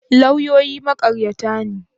Lauyoyi maƙaryata ne?